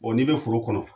n'i bɛ foro kɔnɔ